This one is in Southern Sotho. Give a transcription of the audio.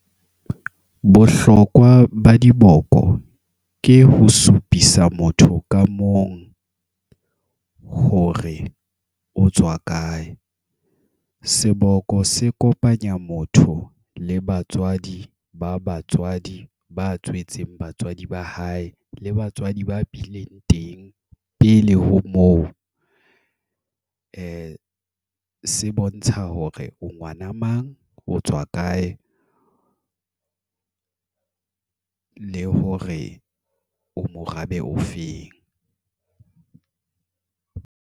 Bohlokwa ba diboko, ke ho supisa motho ka mong, hore o tswa kae. Seboko se kopanya motho, le batswadi, ba batswadi, ba tswetseng batswadi ba hae. Le batswadi ba bileng teng, pele ho moo. Se bontsha hore o ngwana mang, o tswa kae. Le hore o morabe o feng.